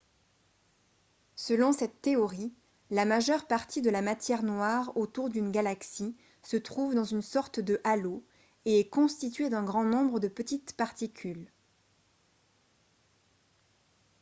selon cette théorie la majeure partie de la matière noire autour d'une galaxie se trouve dans une sorte de halo et est constituée d'un grand nombre de petites particules